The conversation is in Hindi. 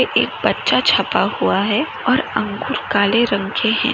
एक परचा छपा हुआ है और अंगूर काले रंग के है।